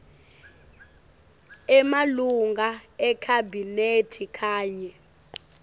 emalunga ekhabhinethi kanye